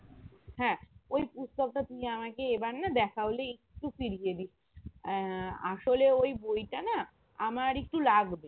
হ্যাঁ ওই পুস্তকটা তুই আমাকে এবার না দেখা হলেই একটু ফিরিয়ে দিবি আহ আসলে ওই বইটা না আমার একটু লাগবে